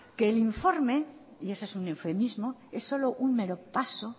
que el informe y eso es un eufemismo es solo un mero paso